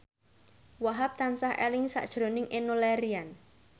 Wahhab tansah eling sakjroning Enno Lerian